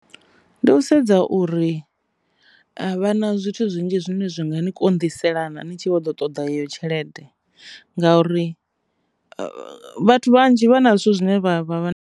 Ndi u sedza uri a vha na zwithu zwinzhi zwine zwi nga ni konḓisa yelana ni tshi vho ḓo ṱoḓa yeyo tshelede ngauri vhathu vhanzhi vha na zwithu zwine vha vha vha.